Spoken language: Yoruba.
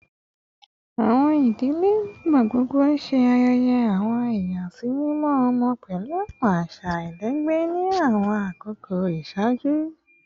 Awọn idile nigbagbogbo ṣe ayẹyẹ awọn iyasimimọ ọmọ pẹlu awọn aṣa alailẹgbẹ ni awọn akoko iṣaaju